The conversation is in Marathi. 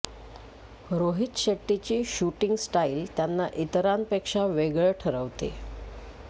रोहित शेट्टीची शूटिंग स्टाईल त्यांना इतरांपेक्षा वेगळं ठरवते